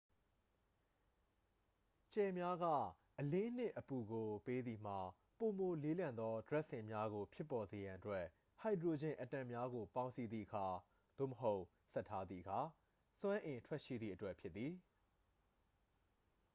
ကြယ်များက အလင်းနှင့် အပူကို ပေးသည်မှာ ပိုမိုလေးလံသော ဒြပ်စင်များကို ဖြစ်ပေါ်စေရန်အတွက် ဟိုက်ဒရိုဂျင်အက်တမ်များကို ပေါင်းစည်းသည့်အခါ သို့မဟုတ် ဆက်ထားသည့်အခါ စွမ်းအင်ထွက်ရှိသည့်အတွက်ဖြစ်သည်။